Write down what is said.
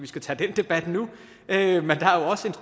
tage den debat nu